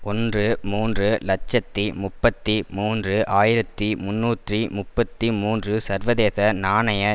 ஒன்று மூன்று இலட்சத்தி முப்பத்தி மூன்று ஆயிரத்தி முன்னூற்றி முப்பத்தி மூன்று சர்வதேச நாணய